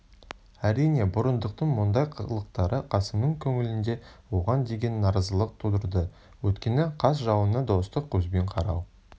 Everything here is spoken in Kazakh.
әрине бұрындықтың мұндай қылықтары қасымның көңілінде оған деген наразылық тудырды өйткені қас жауыңа достық көзбен қарау